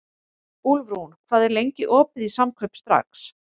Úlfrún, hvað er lengi opið í Samkaup Strax?